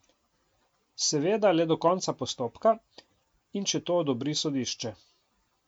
Seveda le do konca postopka in če to odobri sodišče.